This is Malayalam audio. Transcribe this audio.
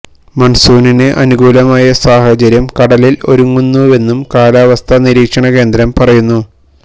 മണ്സൂണിന് അനുകൂലമായ സാഹചര്യം കടലില് ഒരുങ്ങുന്നുവെന്നും കാലാവസ്ഥാ നിരീക്ഷണ കേന്ദ്രം പറയുന്നു